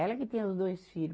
Ela que tem os dois filho.